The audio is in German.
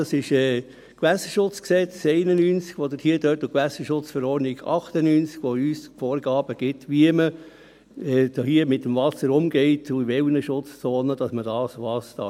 Das sind das Bundesgesetz über den Schutz der Gewässer (Gewässerschutzgesetz, GSchG) aus dem Jahr 1991 und die Gewässerschutzverordnung (GSchV) aus dem Jahr 1998, die uns Vorgaben darüber geben, wie man hier mit dem Wasser umgeht und in welchen Schutzzonen man was machen darf.